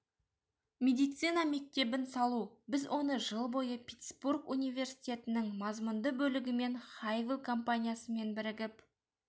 медицина мектебін салу біз оны жыл бойы питтсбург университетінің мазмұнды бөлігі мен хайвилл компаниясымен бірігіп